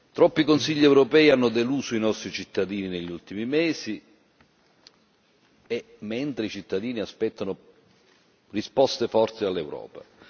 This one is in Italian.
Troppi Consigli europei hanno deluso i nostri cittadini negli ultimi mesi, mentre i cittadini aspettano risposte forti all'Europa.